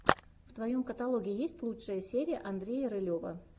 в твоем каталоге есть лучшая серия андрея рылева